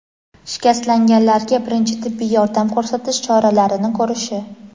shikastlanganlarga birinchi tibbiy yordam ko‘rsatish choralarini ko‘rishi;.